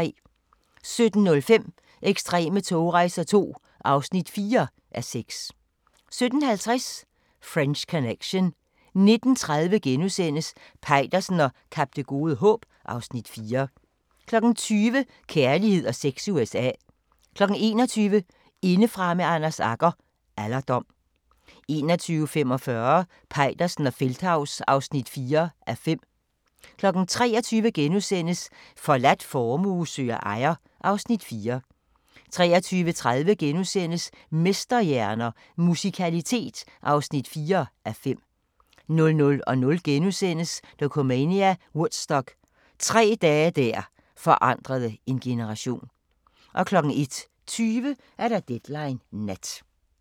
17:05: Ekstreme togrejser II (4:6) 17:50: French Connection 19:30: Peitersen og Kap Det Gode Håb (Afs. 4)* 20:00: Kærlighed og sex i USA 21:00: Indefra med Anders Agger – Alderdom 21:45: Peitersen og Feldthaus (4:5) 23:00: Forladt formue søger ejer (Afs. 4)* 23:30: Mesterhjerner – Musikalitet (4:5)* 00:00: Dokumania: Woodstock – tre dage der forandrede en generation * 01:20: Deadline Nat